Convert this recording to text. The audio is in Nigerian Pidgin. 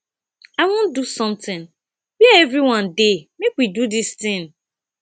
i wan do something where everyone dey make we do dis thing